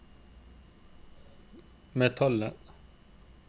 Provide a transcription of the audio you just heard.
metallet